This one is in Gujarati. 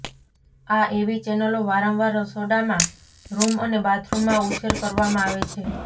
આ એવી ચૅનલો વારંવાર રસોડામાં રૂમ અને બાથરૂમમાં ઉછેર કરવામાં આવે છે